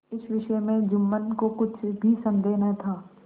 इस विषय में जुम्मन को कुछ भी संदेह न था